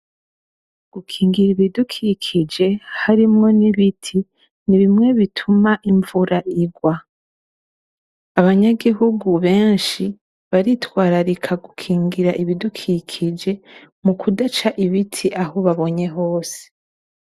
Gukingira ibidukikije harimwo n'ibiti ni bimwe bituma imvura igwa. Abanyagihugu benshi baritwararika gukingira ibidukikije mukudaca ibiti aho babonye hose.